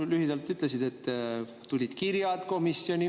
Jah, lühidalt sa ütlesid, et tulid kirjad komisjoni.